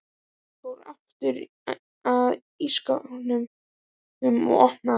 Hann fór aftur að skápnum og opnaði hann.